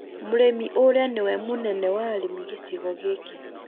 Mũrĩmi ũrĩa nĩ we mũnene wa arĩmi gĩcigo gĩkĩ